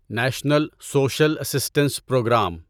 national social assistance programme